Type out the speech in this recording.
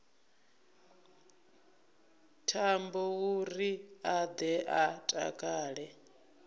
thambouri a ḓe a takale